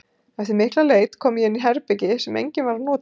Eftir mikla leit kom ég inn í herbergi sem enginn var að nota.